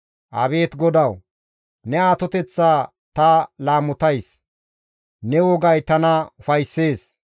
Abeet GODAWU! Ne atoteththa ta laamotays; ne wogay tana ufayssees.